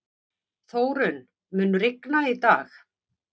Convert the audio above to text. Þórunn, mun rigna í dag?